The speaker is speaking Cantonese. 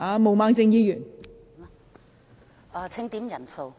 毛孟靜議員，請發言。